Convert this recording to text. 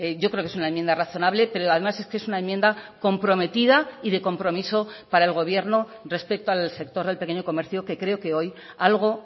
yo creo que es una enmienda razonable pero además es que es una enmienda comprometida y de compromiso para el gobierno respecto al sector del pequeño comercio que creo que hoy algo